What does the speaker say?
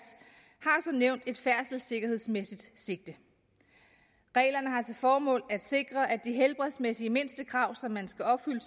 år nævnt et færdselssikkerhedsmæssigt sigte reglerne har til formål at sikre at de helbredsmæssige mindstekrav som man skal opfylde